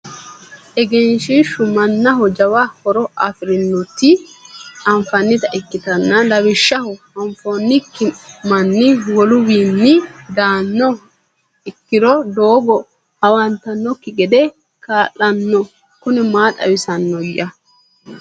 egenshiishshu mannaho jwa horo afirinoti anfannita ikkitanna, lawishshaho afinokki manni woluwiinni daanno ikkiro doogo hawannokki gede kaa'lanno, kuni maa xawisanno'ya?